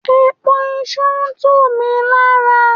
Èpo iṣu ń tún mi lára.